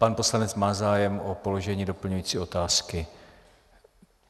Pan poslanec má zájem o položení doplňující otázky.